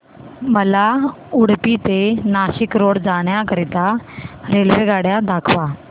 मला उडुपी ते नाशिक रोड जाण्या करीता रेल्वेगाड्या दाखवा